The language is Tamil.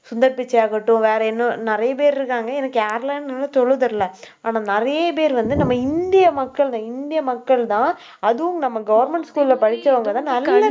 சுந்தர் பிச்சையாகட்டும் வேற இன்னும் நிறைய பேர் இருக்காங்க. எனக்கு யாருலாம்னு இன்னும்னு சொல்ல தெரில ஆனா, நிறைய பேர் வந்து நம்ம இந்திய மக்கள்தான் இந்திய மக்கள்தான் அதுவும் நம்ம government school ல படிச்சவங்கதான் நல்ல